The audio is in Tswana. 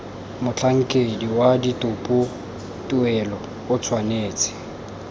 motlhankedi wa ditopotuelo o tshwanetse